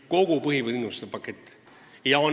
Kogu põhitingimuste pakett!